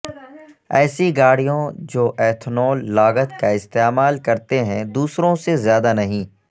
ایسی گاڑییں جو ایتھنول لاگت کا استعمال کرتے ہیں دوسروں سے زیادہ نہیں